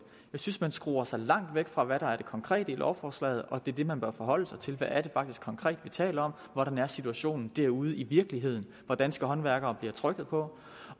synes man skruer sig langt væk fra hvad der er det konkrete i lovforslaget og det er det man bør forholde sig til hvad er det faktisk konkret vi taler om og hvordan er situationen derude i virkeligheden hvor danske håndværkere bliver trykket på